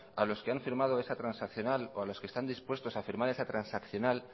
a los que han firmado esa transaccional o a los que están dispuestos a firmar esa transaccional